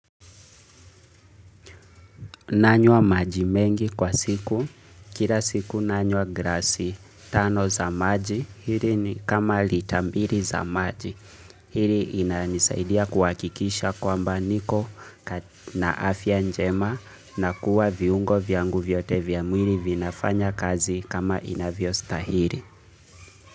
Nanywa maji mengi kwa siku, kila siku nanywa glasi tano za maji, hili ni kama lita mbili za maji. Hili inanisaidia kuhakikisha kwamba niko na afya njema na kuwa viungo vyangu vyote vya mwili vinafanya kazi kama inavyostahili.